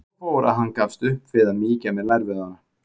Svo fór að hann gafst upp við að mýkja á mér lærvöðvana.